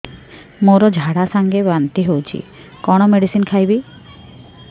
ମୋର ଝାଡା ସଂଗେ ବାନ୍ତି ହଉଚି କଣ ମେଡିସିନ ଖାଇବି